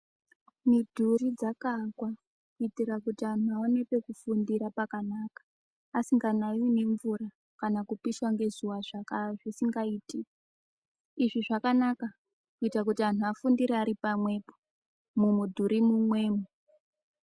Midhuru dzakaaakwa kuitira kuti anhu aone pekufundire pakanaka asinganaiwi ngemvura kana kupishwa ngezuwa zvisingaiti izvi zvakanaka kuitira kuti anthu afunire ari pamwepo mumidhuri mumwemo.